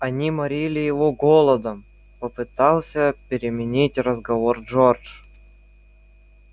они морили его голодом попытался переменить разговор джордж